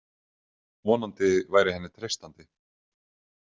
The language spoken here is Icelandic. Vonandi væri henni treystandi.